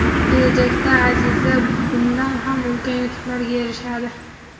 kelajakda Aziza bundan ham ulkan yutuqlarga erishadi!.